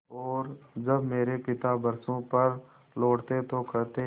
और जब मेरे पिता बरसों पर लौटते तो कहते